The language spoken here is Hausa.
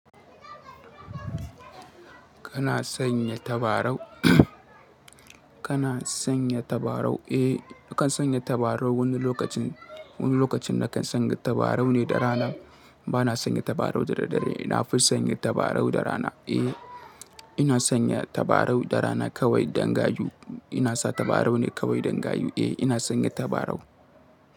Kana sanya tabarau? Kana sanya tabarau? Eh, na kan sanya tabarau wani lokacin. Wani lokacin na kan sanya tabarau ne da rana. Bana sanya tabarau da daddare. Ina fi sanya tabarau da rana. Eh, ina sanya tabarau da rana kawai dan gayu. Ina sa tabarau ne kawai dangayu. Eh, ina sanya tabarau.